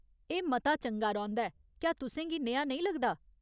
एह् मता चंगा रौंह्दा ऐ, क्या तुसें गी नेहा नेईं लगदा।